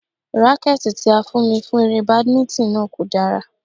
Rákẹ́tì tí a fún mi fún eré Badminton náà kò dára.